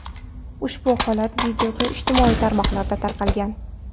Ushbu holat videosi ijtimoiy tarmoqlarda tarqalgan.